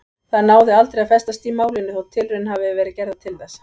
Það náði aldrei að festast í málinu þótt tilraunir hafi verið gerðar til þess.